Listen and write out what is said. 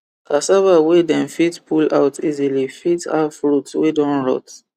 cassava wey dem fit pull out easily fit have root wey don rot